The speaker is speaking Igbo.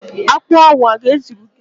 Akpo ahu o ga-ezuru gi?